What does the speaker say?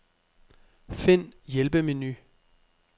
Find hjælpemenu.